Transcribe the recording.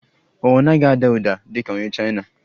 Ọ naghị ada ụda dị ka onye Chaina?